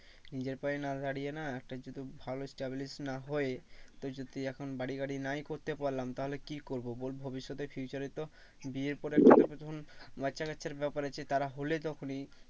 নিজের পায়ে না দাঁড়িয়ে না একটা যদি ভালো চাকরি না হয় তুই যদি এখন বাড়ি গাড়ি নাই করতে পারলাম তাহলে কি করবো ভবিষ্যতে future এ তো বিয়ে করে যখন বাচ্চা কাচ্চার ব্যাপার আছে তারা হলে তখনি